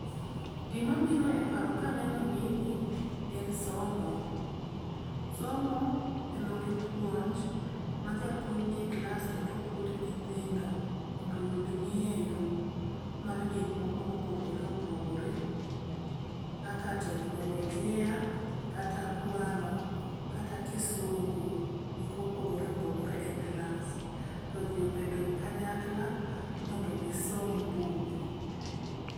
Gimabiro e paro kaneno gini en somo. Somo kendo gi puonj ma japuonj ni e klas kendo puonjo nyithindo mondo oyud ng'eyo mar gikmoko mopogore opogore kaka teknolojia, kata kwano kata kisungu gik mopogore opogore e klas, to ji obedo kanyakla mondo gisom buk.